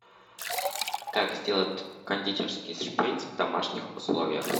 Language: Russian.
как сделать кондитерский шприц в домашних условиях